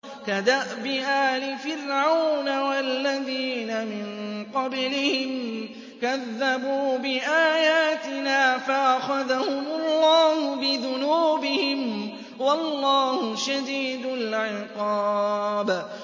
كَدَأْبِ آلِ فِرْعَوْنَ وَالَّذِينَ مِن قَبْلِهِمْ ۚ كَذَّبُوا بِآيَاتِنَا فَأَخَذَهُمُ اللَّهُ بِذُنُوبِهِمْ ۗ وَاللَّهُ شَدِيدُ الْعِقَابِ